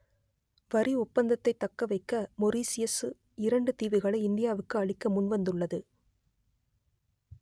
வரி ஒப்பந்தத்தைத் தக்க வைக்க மொரீசியசு இரண்டு தீவுகளை இந்தியாவுக்கு அளிக்க முன்வந்துள்ளது